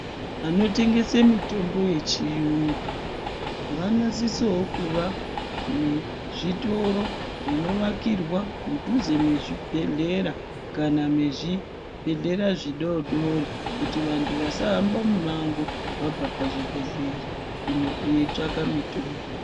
Vanotengesawo mitombo yechirungu vanosisawo kuva nezvitoro zvinovakirwa mudhuze mezvibhedhlera kana mezvibhedhlera zvidodori kuti vantu vasahamba mumango vabva kuzvibhedhlera veitsvaka mutombo.